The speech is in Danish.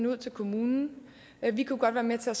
ud til kommunen vi kunne godt være med til at